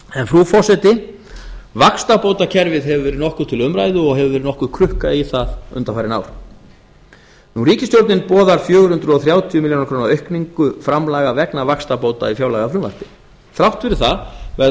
frú forseti vaxtabótakerfið hefur verið nokkuð til umræðu og hefur verið nokkuð krukkað í það undanfarin ár ríkisstjórnin boðar fjögur hundruð þrjátíu milljónir króna aukningu framlaga vegna vaxtabóta í fjárlagafrumvarpi þrátt fyrir það verða